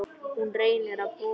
Hún reynir að brosa.